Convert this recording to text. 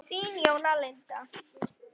Þín Jóna Linda.